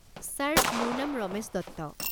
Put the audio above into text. Sir, মোৰ নাম ৰমেশ দত্ত।